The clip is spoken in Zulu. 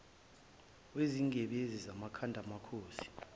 wezingebhezi zamakhanda amakhosi